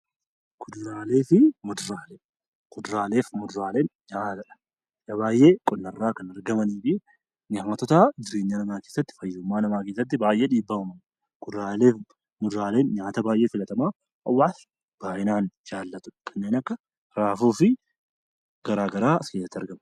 Kuduraalee fi muduraaleen nyaata dha. Nyaata baayyee qonna irraa kan argamanii fi fayyummaa namaa keessatti baayyee dhiibbaa uumu. Kuduraalee fi muduraaleen nyaata baayyee filatamaa namnis baayyinaa jaallatu kanneen akka raafuu fa'aa as keessatti argamu.